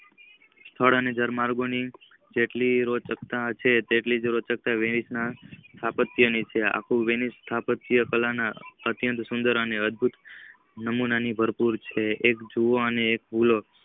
સ્થળ અને જળમાર્ગો ની જેટલી રોચકતા છે તેટલીજ રોચકતા અપિયત ની છે આખું વેણીશ સ્થાપત્ય કાલા ને અતિયાત સુદશર અને અધગારિત નમૂના ભરપૂર છે.